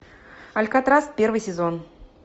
алькатрас первый сезон